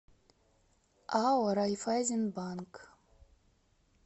ао райффайзенбанк